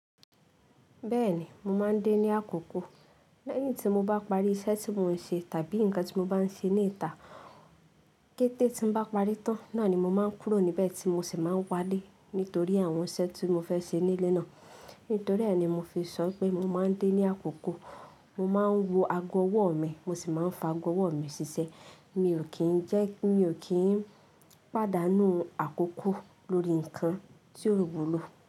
Bẹ́ẹ̀ni, mo máa ń dé ní àkókò. Lẹ́yìn tí mo bá parí iṣẹ́ tí mò ń ṣe tàbí ǹkan tí mo bá ń ṣe ní ìta, kété tí mo bá parí tán, náà ni mo máa ń kúrò níbẹ̀ tí mo sì máa ń wálé nítorí àwọn iṣẹ́ tí mo fẹ́ ṣe nílé náà. Nítorí è ní mo fi sọ wipé mo máa ń dé ní àkókò. Mo máa ń wọ ago ọwọ́ mi, mo sì máa ń fa ago ọwọ́ mi ṣiṣẹ́. Mi ò kí ń jẹ́, mi ò kí ń pàdánù àkókò lórí ǹkan tí ó wúlò.